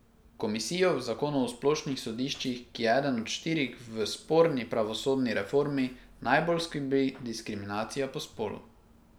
Komisijo v zakonu o splošnih sodiščih, ki je eden od štirih v sporni pravosodni reformi, najbolj skrbi diskriminacija po spolu.